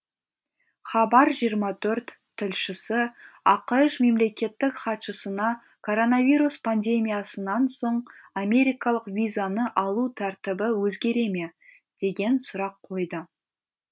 хабар жиырма төрт тілшісі ақш мемлекеттік хатшысына коронавирус пандемиясынан соң америкалық визаны алу тәртібі өзгере ме деген сұрақ қойды